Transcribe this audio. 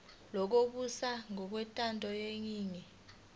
lokubusa ngokwentando yeningi